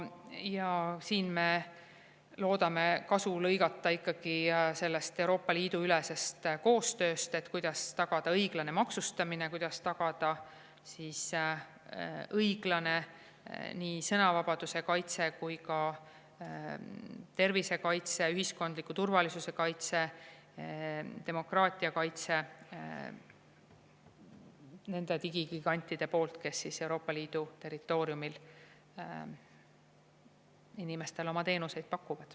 Ja siin me loodame ikkagi kasu saada Euroopa Liidu ülesest koostööst, kuidas tagada õiglane maksustamine, kuidas tagada õiglane nii sõnavabaduse kaitse kui ka tervisekaitse, ühiskondliku turvalisuse kaitse, demokraatia kaitse nende digigigantide puhul, kes Euroopa Liidu territooriumil inimestele oma teenuseid pakuvad.